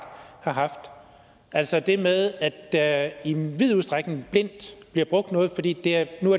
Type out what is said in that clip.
har haft altså det med at der i vid udstrækning blindt bliver brugt noget fordi det nu